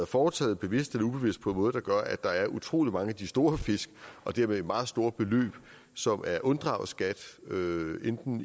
foretaget bevidst eller ubevidst på en måde der gør at der er utrolig mange af de store fisk og dermed meget store beløb som er unddraget skat enten